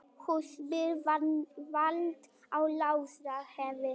Húsbíll valt á Laxárdalsheiði